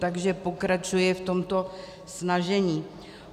Takže pokračuji v tomto snažení.